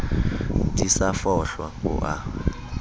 di sa fohlwa o a